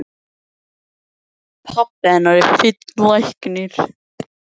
Pabbi hennar er fínn læknir í